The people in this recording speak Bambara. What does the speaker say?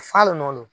Falen nɔ